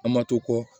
An ma to kɔ